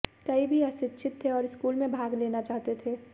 कई भी अशिक्षित थे और स्कूल में भाग लेना चाहते थे